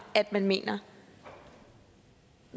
at man mener